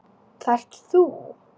Það ert þú.